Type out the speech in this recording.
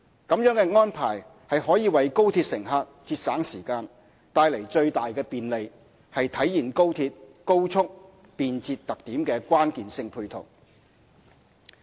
這樣的安排可為高鐵乘客節省時間，帶來最大的便利，是體現高鐵高速、便捷特點的關鍵性配套。